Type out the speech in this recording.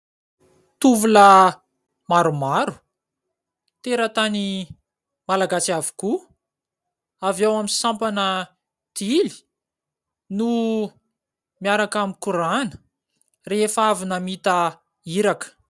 Tovolahy maromaro, teratany Malagasy avokoa, avy ao amin'ny sampana tily, no miaraka mikorana rehefa avy namita iraka.